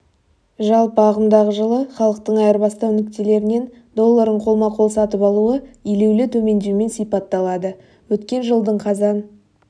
жалпы ағымдағы жылы халықтың айырбастау нүктелерінен долларын қолма-қол сатып алуы елеулі төмендеумен сипатталады өткен жылдың қазан